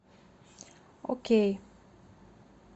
окей